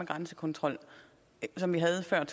grænsekontrol som vi havde før